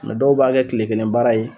dɔw b'a kɛ tile kelen baara ye